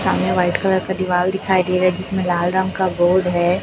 सामने white colour का दीवाल दिखाई दे रहा जिसमें लाल रंग का बोर्ड हैं।